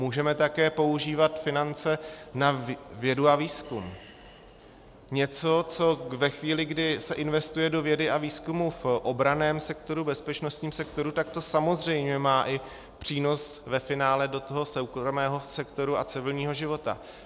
Můžeme také používat finance na vědu a výzkum, něco, co ve chvíli, kdy se investuje do vědy a výzkumu v obranném sektoru, bezpečnostním sektoru, tak to samozřejmě má i přínos ve finále do toho soukromého sektoru a civilního života.